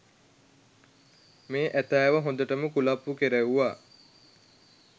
මේ ඇතාව හොඳටම කුලප්පු කෙරෙව්වා